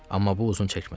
Amma bu uzun çəkmədi.